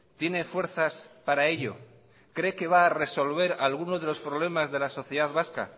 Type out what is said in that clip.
tiene fuerzas para ello cree que va a resolver alguno de los problemas de la sociedad vasca